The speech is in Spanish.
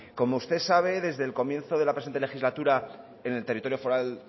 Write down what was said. como usted sabe desde el comienzo de la presente legislatura en el territorio foral